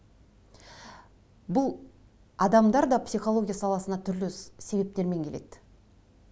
бұл адамдар да психология саласына түрлі себептермен келеді